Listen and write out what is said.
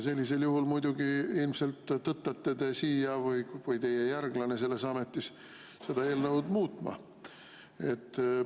Sellisel juhul te ilmselt muidugi tõttate siia või teie järglane selles ametis tõttab siia seda eelnõu muutma.